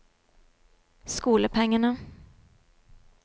skolepengene